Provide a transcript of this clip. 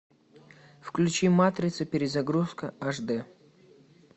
включи матрица перезагрузка аш дэ